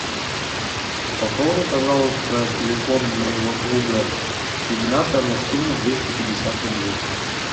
пополни пожалуйста телефон моего друга игната на сумму двести пятьдесят рублей